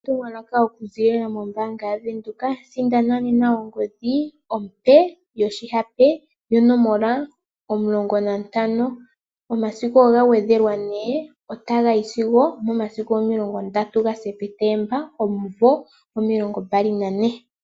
Etumwalaka okuzilila mombaanga yaWindhoek sindana nena ongodhi ompe yoshihape yonomola 15, omasiku ogagwedhelwa ne otaga yi sigo 30 gaSepetemba 2024.